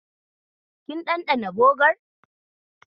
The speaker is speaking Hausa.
Kin ɗanɗana bogar?